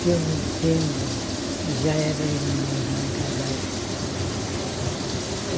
Que eu me entendo, já era minha irmã casada. Ah tá